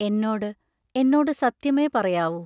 എന്നോട് എന്നോടു സത്യമേ പറയാവൂ.